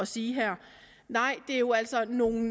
sige her nej det er jo altså nogle